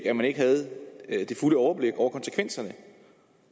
at man ikke havde det fulde overblik over konsekvenserne